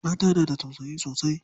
Mata na da tausayi sosai.